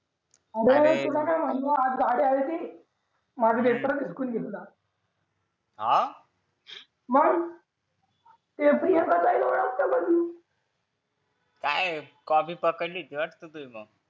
अरे तुला काय माहिती आज गाडी आली होती माझा पेपरच हिसकावून घेतला हा मग ते प्रियांका ताईला ओळखतो का तू काय कॉपी पकडली होती वाटत मग